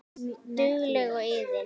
Dugleg og iðin.